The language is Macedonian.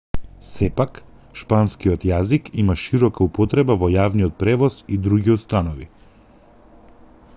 сепак шпанскиот јазик има широка употреба во јавниот превоз и други установи